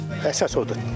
Əsas odur təzə olsun.